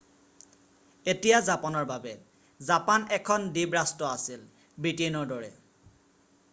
এতিয়া জাপানৰ বাবে৷ জাপান এখন দ্বীপ ৰাষ্ট্ৰ আছিল ব্ৰিটেইনৰ দৰে৷